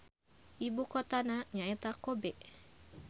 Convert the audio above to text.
Ibukotana nyaeta Kobe.